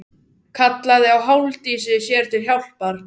Kallaði á Halldísi sér til hjálpar.